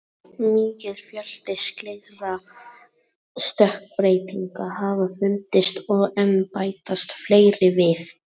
Mikill fjöldi slíkra stökkbreytinga hafa fundist og enn bætast fleiri við.